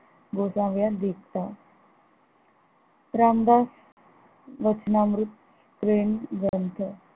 गोसाव्या दीप्ता रामदास गोसना अमृत प्रेमग्रंथ